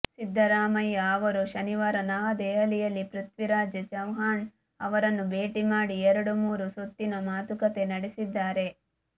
ಸಿದ್ದರಾಮಯ್ಯ ಅವರು ಶನಿವಾರ ನವದೆಹಲಿಯಲ್ಲಿ ಪೃಥ್ವಿರಾಜ್ ಚವ್ಹಾಣ್ ಅವರನ್ನು ಭೇಟಿ ಮಾಡಿ ಎರಡು ಮೂರು ಸುತ್ತಿನ ಮಾತುಕತೆ ನಡೆಸಿದ್ದಾರೆ